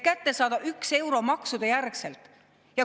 Seda selleks, et maksudejärgselt kätte saada 1 euro.